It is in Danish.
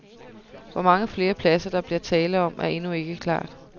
Hvor mange flere pladser, der bliver tale om, er endnu ikke klart.